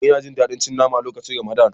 Ina Jin dadi cin mama lokacin ramadan.